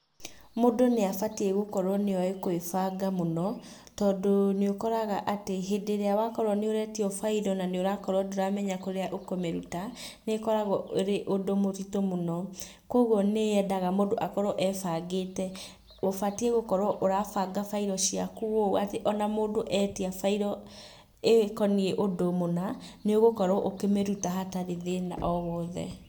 Mũndũ nĩ abatiĩ gũkorwo nĩoĩ kũĩbanga mũno tondũ nĩ ũkoraga atĩ hĩndĩ ĩrĩa wakorwo nĩ ũretio bairũ na nĩ ũrakorwo ndũramenya kũrĩa ũkũmĩruta, nĩkoragwo ũrĩ ũndũ mũritũ mũno, koguo nĩ yendaga mũndu akorwo ebangĩte. Ũbatiĩ gũkorwo ũrabanga bairũ ciaku ũũ atĩ ona mũndũ etia bairũ ĩkoniĩ ũndũ mũna, nĩ ũgũkorwo ũkĩmĩruta hatarĩ thĩna o wothe.